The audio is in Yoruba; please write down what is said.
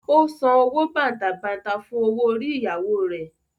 Ó san owó bàǹtàbanta fún owó orí ìyàwó rẹ̀.